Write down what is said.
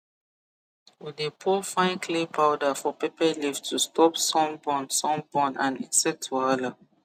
we dey pour fine clay powder for pepper leaf to stop sun burn sun burn and insect wahala